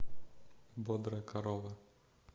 бодрая корова